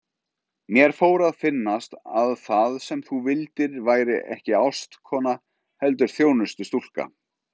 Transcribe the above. Mér fór að finnast að það sem þú vildir væri ekki ástkona heldur þjónustustúlka.